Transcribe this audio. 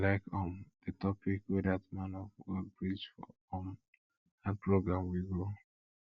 i like um the topic wey dat man of god preach for um dat program we go